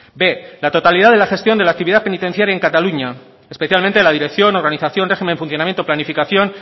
b la totalidad de la gestión de la actividad penitenciaria en cataluña especialmente la dirección organización régimen funcionamiento planificación